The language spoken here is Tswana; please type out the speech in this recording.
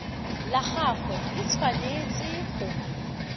la gagwe le tshwanetse go